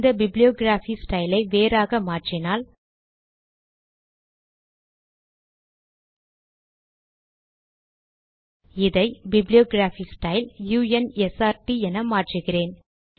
இந்த bibliography style ஐ வேறாக மாற்றினால் இதை bibliography style u n s r ட் என் மாற்றுகிறேன்